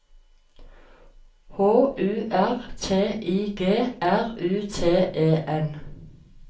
H U R T I G R U T E N